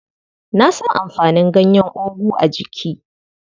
Na san amfanin ganyen ogu a jiki.